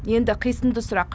енді қисынды сұрақ